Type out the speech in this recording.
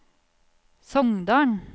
Songdalen